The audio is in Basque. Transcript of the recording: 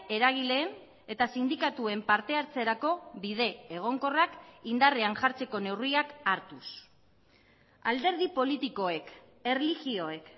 eragileen eta sindikatuen partehartzerako bide egonkorrak indarrean jartzeko neurriak hartuz alderdi politikoek erlijioek